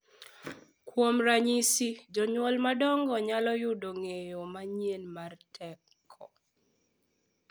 Kuom ranyisi, jonyuol madongo nyalo yudo ng’eyo manyien mar teko .